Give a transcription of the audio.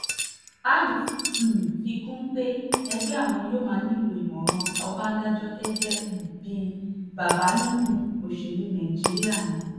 àyù fi um kún un pé ẹgbẹ́ àwọn yóò máa nílò ìmọ̀ràn ọbadànjọ gẹ́gẹ́ um bíi bàbá nínú òṣèlú nàìjíríà ni